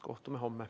Kohtume homme.